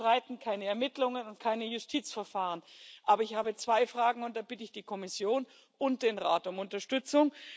Wir bestreiten keine Ermittlungen und keine Justizverfahren, aber ich habe zwei Fragen, und da bitte ich die Kommission und den Rat um Unterstützung.